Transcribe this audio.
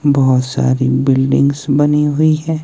बहोत सारी बिल्डिंग्स बनी हुई है।